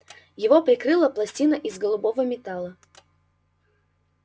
его прикрыла пластина из голубого металла